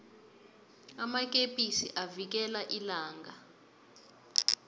amakepisi avikela ilanga